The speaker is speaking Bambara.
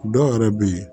Dɔw yɛrɛ bɛ yen